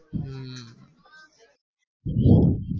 હમ